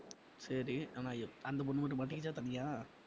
சரி ஆனா~ அந்த பொண்ணு மட்டும் மாட்டிகிச்சா தனியா?